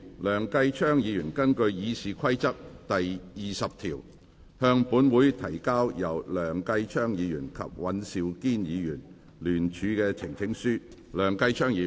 梁繼昌議員根據《議事規則》第20條，向本會提交由梁繼昌議員及尹兆堅議員聯署的呈請書。